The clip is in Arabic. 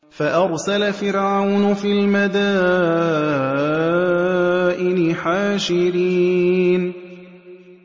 فَأَرْسَلَ فِرْعَوْنُ فِي الْمَدَائِنِ حَاشِرِينَ